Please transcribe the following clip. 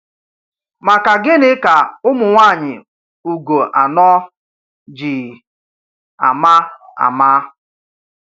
Maka gịnị ka ụmụnwaanyị Ugo anọ̀ ji ama ama?